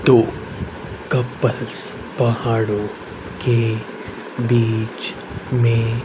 दो कपल्स पहाड़ों के बीच में--